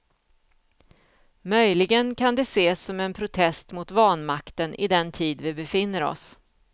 Möjligen kan de ses som en protest mot vanmakten i den tid vi befinner oss.